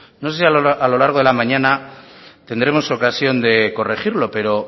no sé si a lo largo de la mañana tendremos ocasión de corregirlo pero